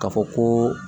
Ka fɔ koo